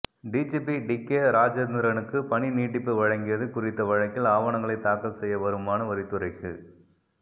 DGP DK ராஜேந்திரனுக்கு பணி நீட்டிப்பு வழங்கியது குறித்த வழக்கில் ஆவணங்களை தாக்கல் செய்ய வருமான வரித்துறைக்கு